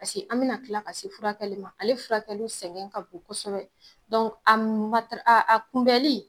Paseke an bena kila ka se furakɛkɛ ma ale furakɛli sɛgɛn ka bon kosɛbɛ dɔn a matara a kunbɛnli